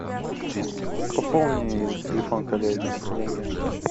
пополни телефон коллеги деньги